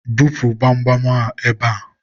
bupu gbamgbam a ebe a!